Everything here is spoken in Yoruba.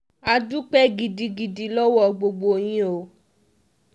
a dúpẹ́ gidigidi lọ́wọ́ gbogbo yín o